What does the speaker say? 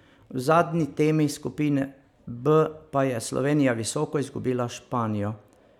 V zadnji temi skupine B pa je Slovenija visoko izgubila s Španijo.